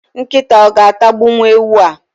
Nkịta o ga-atagbuwu ewu a?.